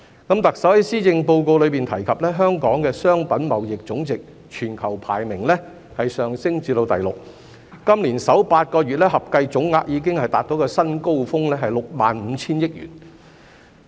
特首在施政報告中提及香港的商品貿易總值全球排名上升至第六，今年首8個月合計總額已達至一個新高峰，是6萬 5,000 億元。